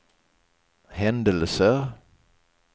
händelser